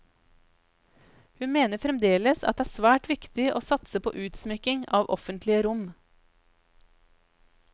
Hun mener fremdeles at det er svært viktig å satse på utsmykking av offentlige rom.